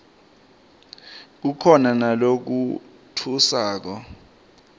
kukhona nalatfusako